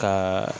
Ka